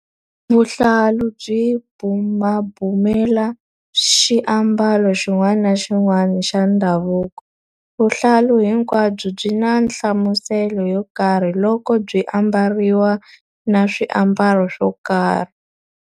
Vuhlalu byi bumabumela xiambalo xin'wana na xin'wana xa ndhavuko. Vuhlalu hinkwabyo byi na nhlamuselo yo karhi loko byi ambariwa na swiambalo swo karhi.